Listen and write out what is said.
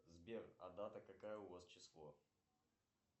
сбер а дата какая у вас число